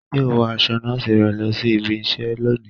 Yóò wọ aṣọ nọọsi rẹ lọ sí ìbi iṣẹ lóni